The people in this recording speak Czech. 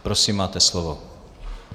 Prosím, máte slovo.